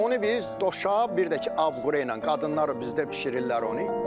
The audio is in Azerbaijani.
Onu biz doşab, bir də ki, abqura ilə qadınlar bizdə bişirirlər onu.